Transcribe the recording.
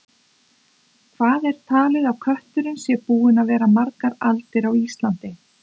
Hvað er talið að kötturinn sé búinn að vera margar aldir á Íslandi?